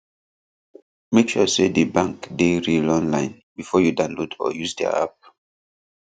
make sure say the bank dey real online before you download or use their app